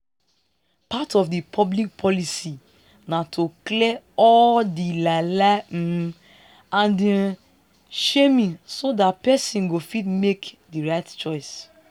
part of public policy na to clear all to clear all di lie lie um and um shaming so dat person go fit make di right choice